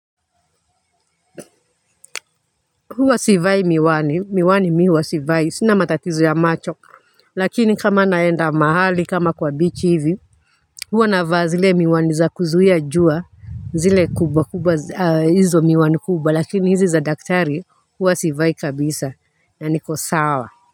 Huwa sivai miwani miwani miwa sivai sina matatizo ya macho lakini kama naenda mahali kama kwa bichi hivi huwa na vaa zile miwani za kuzuia jua zile kubwa kubwa hizo miwani kubwa lakini hizi za daktari huwa sivai kabisa yaniko sawa.